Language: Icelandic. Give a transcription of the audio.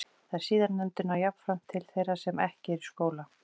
Þær síðarnefndu ná jafnframt til þeirra sem ekki eru í skóla.